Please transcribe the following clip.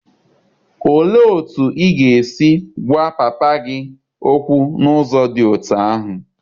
Olee otú ị ga-esi gwa papa gị okwu n'ụzọ dị otú ahụ?